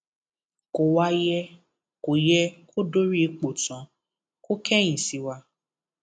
kò wáá yẹ kó yẹ kó dórí ipò tán kó kẹyìn sí wa